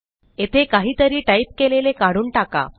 येथे काहीतरी टाईप केलेले काढून टाका